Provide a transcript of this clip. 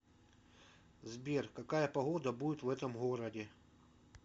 сбер какая погода будет в этом городе